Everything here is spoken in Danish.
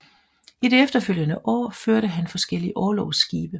I de efterfølgende år førte han forskellige orlogsskibe